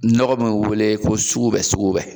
Nɔgɔ min bɛ wele ko sugubɛ sugubɛ